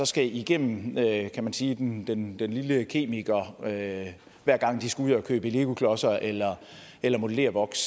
skal igennem kan man sige den lille kemikereksamen hver gang de skal ud og købe legoklodser eller eller modellervoks